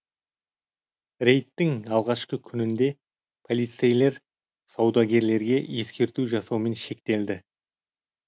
рейдттің алғашқы күнінде полицейлер саудагерлерге ескерту жасаумен шектелді